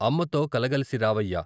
అమ్మతో కలగలసి రావయ్యా !